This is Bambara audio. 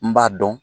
N b'a dɔn